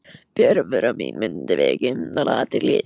Fjarvera mín mundi vekja umtal og athygli.